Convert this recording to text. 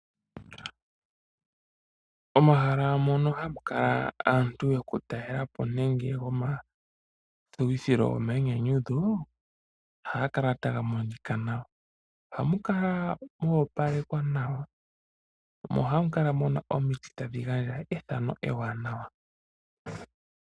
Omahala mono ha mu kala aantu yokutalela po nenge yomathuwithilo gomayinyanyudho ohaga kala taga monika nawa. Oha mukala moopalekwa nawa mo oha mu kala mu na omiti tadhi gandja ethano eewanawa.